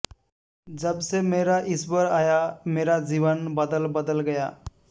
जब से मेरा ईश्वर आया मेरा जीवन बदल बदल गया